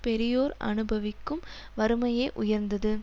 பெரியோர் அனுபவிக்கும் வறுமையே உயர்ந்தது